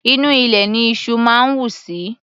Inú ilẹ̀ ní iṣú máa ń wù sí.